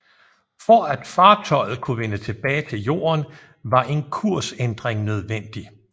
For at fartøjet kunne vende tilbage til Jorden var en kursændring nødvendig